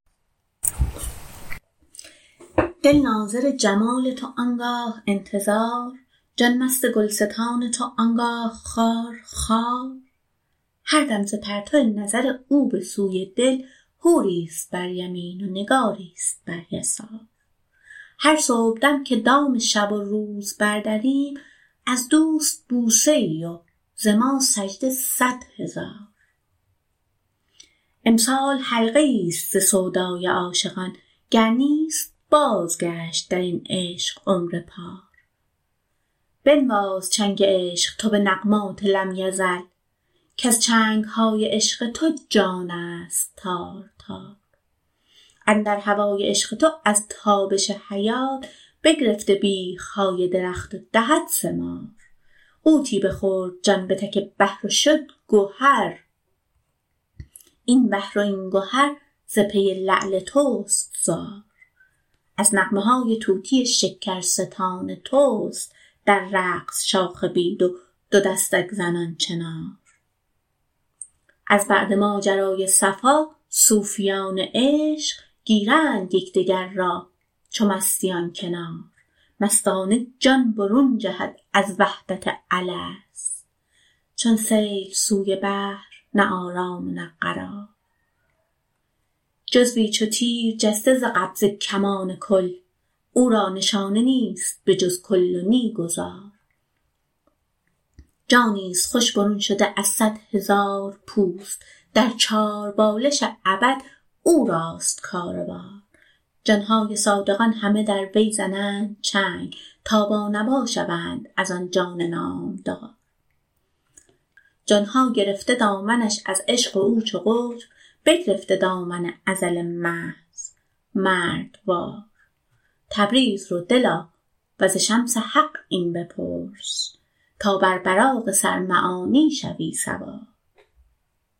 دل ناظر جمال تو آن گاه انتظار جان مست گلستان تو آن گاه خار خار هر دم ز پرتو نظر او به سوی دل حوریست بر یمین و نگاریست بر یسار هر صبحدم که دام شب و روز بردریم از دوست بوسه ای و ز ما سجده صد هزار امسال حلقه ایست ز سودای عاشقان گر نیست بازگشت در این عشق عمر پار بنواز چنگ عشق تو به نغمات لم یزل کز چنگ های عشق تو جانست تار تار اندر هوای عشق تو از تابش حیات بگرفته بیخ های درخت و دهد ثمار غوطی بخورد جان به تک بحر و شد گهر این بحر و این گهر ز پی لعل توست زار از نغمه های طوطی شکرستان توست در رقص شاخ بید و دو دستک زنان چنار از بعد ماجرای صفا صوفیان عشق گیرند یک دگر را چون مستیان کنار مستانه جان برون جهد از وحدت الست چون سیل سوی بحر نه آرام و نه قرار جزوی چو تیر جسته ز قبضه کمان کل او را نشانه نیست به جز کل و نی گذار جانیست خوش برون شده از صد هزار پوست در چاربالش ابد او راست کار و بار جان های صادقان همه در وی زنند چنگ تا بانوا شوند از آن جان نامدار جان ها گرفته دامنش از عشق و او چو قطب بگرفته دامن ازل محض مردوار تبریز رو دلا و ز شمس حق این بپرس تا بر براق سر معانی شوی سوار